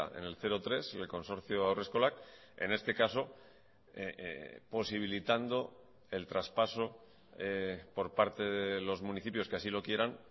en el cero tres y el consorcio haurreskolak en este caso posibilitando el traspaso por parte de los municipios que así lo quieran